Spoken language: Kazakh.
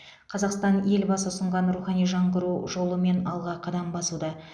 қазақстан елбасы ұсынған рухани жаңғыру жолымен алға қадам басуда